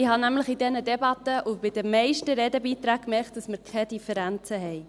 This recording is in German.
Ich habe nämlich in dieser Debatte und bei den meisten Redebeiträgen gemerkt, dass wir keine Differenzen haben.